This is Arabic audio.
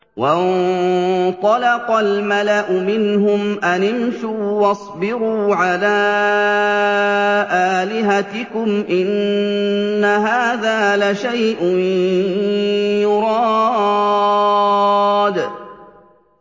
وَانطَلَقَ الْمَلَأُ مِنْهُمْ أَنِ امْشُوا وَاصْبِرُوا عَلَىٰ آلِهَتِكُمْ ۖ إِنَّ هَٰذَا لَشَيْءٌ يُرَادُ